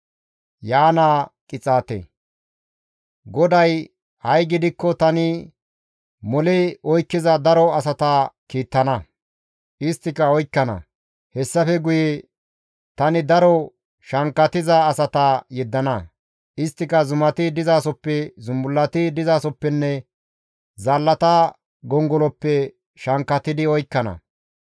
GODAY, «Ha7i gidikko tani mole oykkiza daro asata kiittana; isttika oykkana. Hessafe guye tani daro shankkatiza asata yeddana; isttika zumati dizasoppe, zumbullati dizasoppenne, zaallata gongoloppe shankkatidi oykkana.